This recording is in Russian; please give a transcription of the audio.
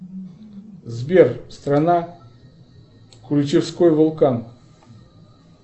сбер страна ключевской вулкан